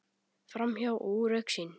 Framhjá og úr augsýn.